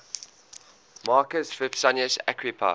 marcus vipsanius agrippa